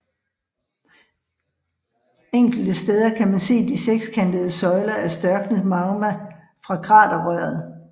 Enkelte steder kan man se de sekskantede søjler af størknet magma fra kraterrøret